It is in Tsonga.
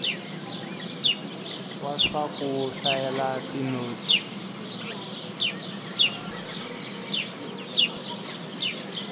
wa swa ku hlayela tinotsi